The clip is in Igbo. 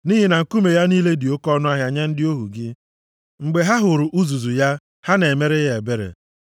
Nʼihi na nkume ya niile dị oke ọnụahịa nye ndị ohu gị; mgbe ha hụrụ uzuzu ya, ha na-emere ya ebere.